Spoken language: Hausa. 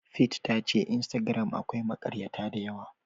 Faith tace instagram akwai makaryata dayawa.